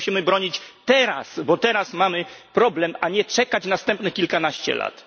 My się musimy bronić teraz, bo teraz mamy problem, a nie czekać następnych kilkanaście lat.